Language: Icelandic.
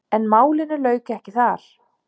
En málinu lauk ekki þar.